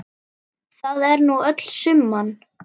Það er nú öll summan.